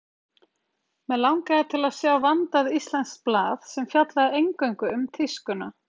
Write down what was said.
Mig langaði til að sjá vandað íslenskt blað, sem fjallaði eingöngu um tískuna.